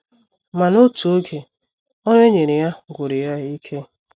Ma, n’otu oge, ọrụ e nyere ya gwụrụ ya ike.